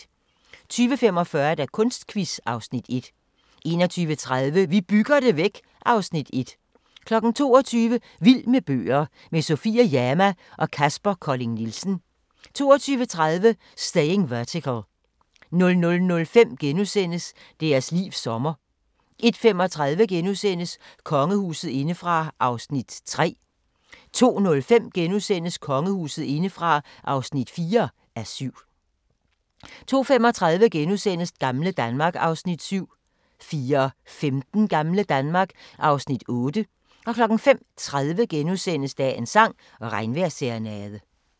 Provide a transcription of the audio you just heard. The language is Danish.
20:45: Kunstquiz (Afs. 1) 21:30: Vi bygger det væk (Afs. 1) 22:00: Vild med bøger – med Sofie Jama og Kaspar Colling Nielsen 22:30: Staying Vertical 00:05: Deres livs sommer (1:3)* 01:35: Kongehuset indefra (3:7)* 02:05: Kongehuset indefra (4:7)* 02:35: Gamle Danmark (Afs. 7)* 04:15: Gamle Danmark (Afs. 8) 05:30: Dagens sang: Regnvejrsserenade *